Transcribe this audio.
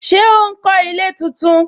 Ṣé ó ń kó ilé tuntun